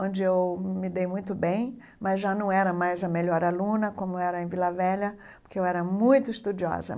Onde eu me dei muito bem, mas já não era mais a melhor aluna, como era em Vila Velha, porque eu era muito estudiosa.